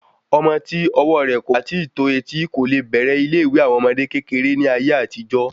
Ọmọ ti ọwọ rẹ kò bá ti tó etí ko le bẹ̀rẹ̀ ilé ìwé àwọn ọmọdé kékeré ní ayé àtijó